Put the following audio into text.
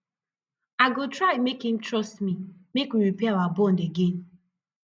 i go try make im trust me make we repair our bond again